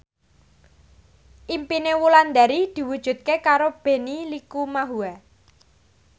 impine Wulandari diwujudke karo Benny Likumahua